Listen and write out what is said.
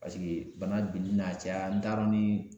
bana de bɛna caya n t'a dɔn ni